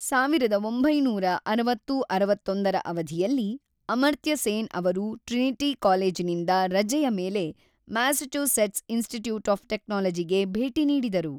ಸಾವಿರದ ಒಂಬೈನೂರ ಅರವತ್ತು-ಅರವತ್ತೊಂದರ ಅವಧಿಯಲ್ಲಿ, ಅಮರ್ತ್ಯ ಸೇನ್ ಅವರು ಟ್ರಿನಿಟಿ ಕಾಲೇಜಿನಿಂದ ರಜೆಯ ಮೇಲೆ ಮ್ಯಾಸಚೂಸೆಟ್ಸ್ ಇನ್‌ಸ್ಟಿಟ್ಯೂಟ್ ಆಫ್ ಟೆಕ್ನಾಲಜಿಗೆ ಭೇಟಿ ನೀಡಿದರು.